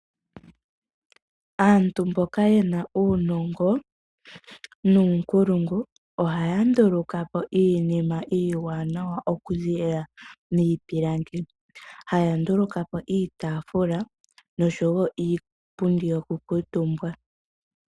Aantu mboka yena uunongo nuunkulungu, ohaya ndulukapo iinima iiwanawa okuza miipilangi. Ohaya ndulukapo iitaafula noshowoo niipundi yokukuutumbwa.